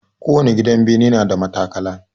Kowani gidan bene na da matakala.